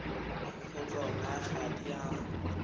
go tsona ga di a